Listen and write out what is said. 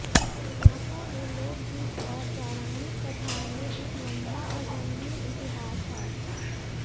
सांपों में लोकगीत और पौराणिक कथाओं में एक लंबा और रंगीन इतिहास है